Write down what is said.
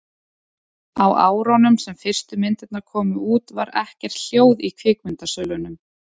á árunum sem fyrstu myndirnar komu út var ekkert hljóð í kvikmyndasölunum